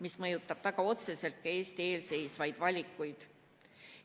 See mõjutab väga otseselt ka Eesti ees seisvaid valikuid.